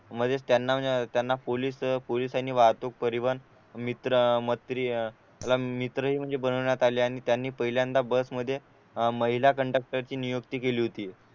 म्हणजेच त्यांना त्यांना पोलीस पोलिसांनी वाहतूक परिवहन मित्र मत्री मित्रही बनवण्यात आले आणि त्यांनी पहिल्यांदा बस मध्ये अह महिला कंडक्टरची नियुक्ती केली होती